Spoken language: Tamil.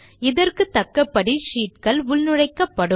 இதற்குத்தக்கபடி ஷீட்கள் உள்நுழைக்கப்படும்